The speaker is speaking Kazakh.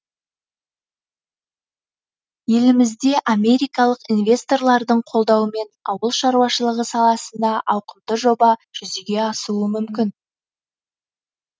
елімізде америкалық инвесторлардың қолдауымен ауыл шаруашылығы саласында ауқымды жоба жүзеге асуы мүмкін